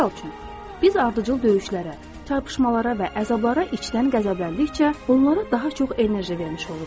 Misal üçün, biz ardıcıl döyüşlərə, çarpışmalara və əzablara içdən qəzəbləndikcə, onlara daha çox enerji vermiş oluruq.